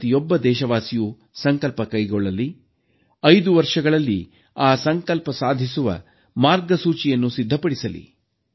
ಪ್ರತಿಯೊಬ್ಬ ದೇಶವಾಸಿಯೂ ಸಂಕಲ್ಪ ಕೈಗೊಳ್ಳಲಿ 5 ವರ್ಷಗಳಲ್ಲಿ ಆ ಸಂಕಲ್ಪ ಸಾಧಿಸುವ ಮಾರ್ಗಸೂಚಿಯನ್ನು ಸಿದ್ಧಪಡಿಸಲಿ